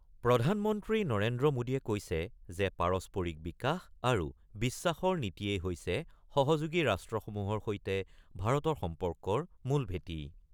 প্ৰধান মন্ত্ৰী নৰেন্দ্ৰ মোডীয়ে কৈছে যে পাৰস্পৰিক বিকাশ আৰু বিশ্বাসৰ নীতিয়েই হৈছে সহযোগী ৰাষ্ট্ৰসমূহৰ সৈতে ভাৰতৰ সম্পৰ্কৰ মূল ভেঁটি।